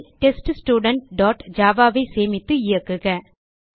file teststudentஜாவா ஐ சேமித்து இயக்குக